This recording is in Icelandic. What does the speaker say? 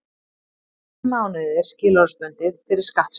Tíu mánuðir skilorðsbundið fyrir skattsvik